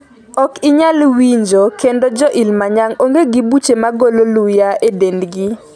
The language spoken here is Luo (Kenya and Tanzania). Ok inyal winjo kendo Jo Ilimanyang ong'e gi buche magolo luya e dendgi